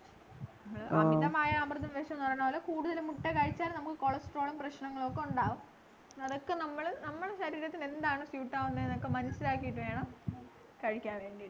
അമിതമായാൽ അമൃതും വിഷം എന്ന് പറയുന്ന പോലെ കൂടുതൽ മുട്ട കഴിച്ചാൽ നമ്മുക്ക് cholesterol ഉം പ്രശ്നങ്ങളൊക്കെ ഉണ്ടാവും തൊക്കെ നമ്മള് നമ്മളെ ശരീരത്തിനെന്താണോ suite ആവുന്നേന്നൊക്കെ മനസ്സിലാക്കീട്ടു വേണം കഴിക്കാൻ വേണ്ടീട്ട്